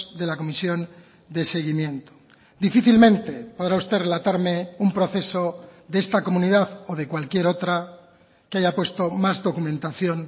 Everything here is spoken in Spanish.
de la comisión de seguimiento difícilmente podrá usted relatarme un proceso de esta comunidad o de cualquier otra que haya puesto más documentación